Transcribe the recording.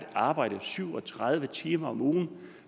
arbejde syv og tredive timer om ugen